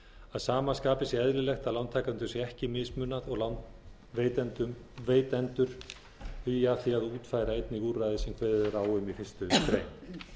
að sama skapi sé eðlilegt að lántakendum sé ekki mismunað og lánveitendur hugi að því að útfæra einnig úrræðið sem kveðið er á um í fyrstu grein